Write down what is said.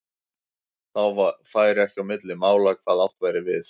Þá færi ekki á milli mála hvað átt væri við.